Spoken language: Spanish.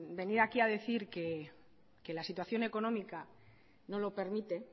venir aquí a decir que la situación económica no lo permite